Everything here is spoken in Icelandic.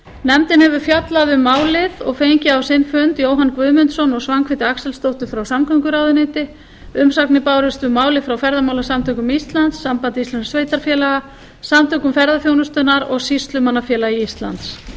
nefndin hefur fjallað um málið og fengið á sinn fund jóhann guðmundsson og svanhvíti axelsdóttur frá samgönguráðuneyti umsagnir bárust um málið frá ferðamálasamtökum íslands sambandi íslenskra sveitarfélaga samtökum ferðaþjónustunnar og sýslumannafélagi íslands